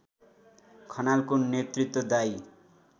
खनालको नेतृत्वदायी